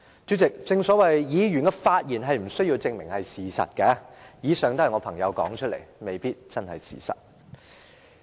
主席，議員的發言無須證明是事實，以上是我朋友所說的話，未必是事實。